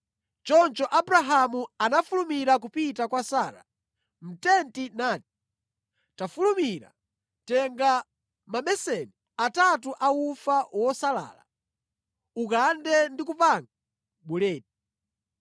Choncho Abrahamu anafulumira kupita kwa Sara mʼtenti nati, “Tafulumira, tenga mabeseni atatu a ufa wosalala, ukande ndi kupanga buledi.”